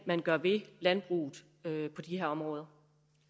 man gør ved landbruget på de her områder